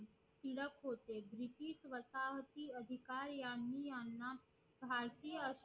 टिळक होते अधिकार यांनी याना